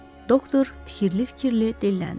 Doktor fikirli-fikirli dilləndi.